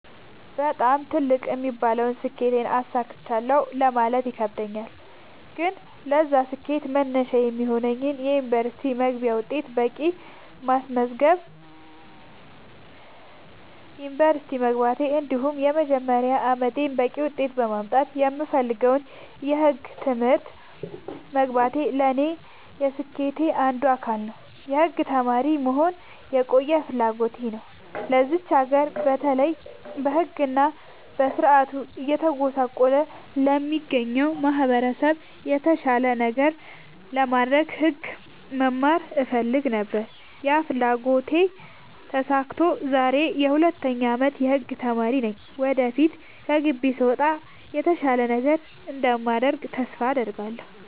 በጣም ትልቅ የምለውን ስኬት አሳክቻለሁ ማለት ይከብደኛል። ግን ለዛ ስኬት መነሻ የሚሆነኝን የ ዩኒቨርስቲ መግቢያ ውጤት በቂ በማስመዝገብ ዩንቨርስቲ መግባቴ እንዲሁም የመጀመሪያ አመቴን በቂ ውጤት በማምጣት የምፈልገውን የህግ ትምህርት መግባቴ ለኔ የስኬቴ አንዱ አካል ነው። የህግ ተማሪ መሆን የቆየ ፍላጎቴ ነው ለዚች ሀገር በተለይ በህግ እና በስርዓቱ እየተጎሳቆለ ለሚገኘው ማህበረሰብ የተሻለ ነገር ለማድረግ ህግ መማር እፈልግ ነበር ያ ፍላጎቴ ተሳክቶ ዛሬ የ 2ኛ አመት የህግ ተማሪ ነኝ ወደፊት ከግቢ ስወጣ የተሻለ ነገር እንደማደርግ ተስፋ አድርጋለሁ።